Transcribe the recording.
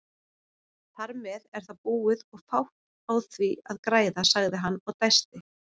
Þarmeð er það búið og fátt á því að græða, sagði hann og dæsti.